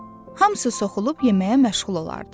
Hamısı soxulub yeməyə məşğul olardı.